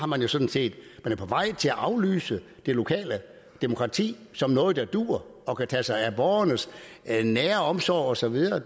man jo sådan set på vej til at aflyse det lokale demokrati som noget der duer og kan tage sig af borgernes nære omsorg og så videre